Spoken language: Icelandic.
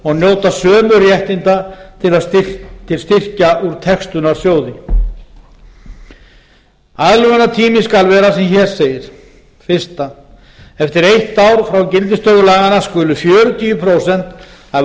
og njóta sömu réttinda til styrkja úr textunarsjóði aðlögunartími skal vera sem hér segir fyrsta eftir eitt ár frá gildistöku laganna skulu fjörutíu prósent af